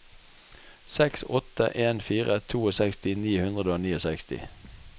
seks åtte en fire sekstito ni hundre og sekstini